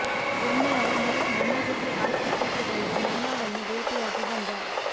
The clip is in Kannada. ಒಮ್ಮೆ ಅವನೂ ನನ್ನ ಜೊತೆ ಆಸ್ಪತ್ರೆಗೆ ಬಂದು ಮೀನಾಳನ್ನು ಭೇಟಿಯಾಗಿ ಬಂದ